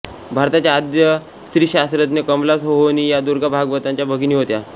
भारताच्या आद्य स्त्रीशास्त्रज्ञ कमला सोहोनी या दुर्गा भागवतांच्या भगिनी होत्या